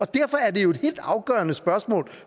derfor er det jo et helt afgørende spørgsmål